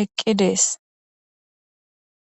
eqqi dees